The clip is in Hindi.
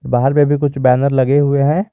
बाहर में भी कुछ बैनर लगे हुए हैं।